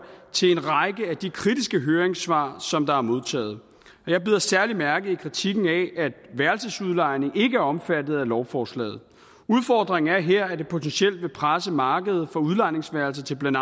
til en række af de kritiske høringssvar som der er modtaget jeg bider særlig mærke i kritikken af at værelsesudlejning ikke er omfattet af lovforslaget udfordringen er her at det potentielt vil presse markedet for udlejningsværelser til blandt